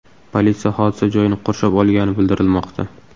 Politsiya hodisa joyini qurshab olgani bildirilmoqda.